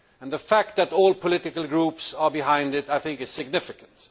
The fact that all political groups are behind it, I think, is significant.